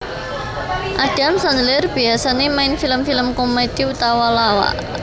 Adam Sandler biasané main film film komedi utawa lawak